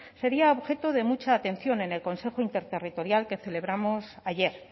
sería objeto de mucha atención en el consejo interterritorial que celebramos ayer